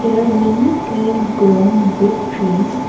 there are many green grown big trees.